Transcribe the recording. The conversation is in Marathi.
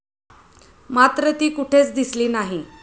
मात्र ती कुठेच दिसली नाही.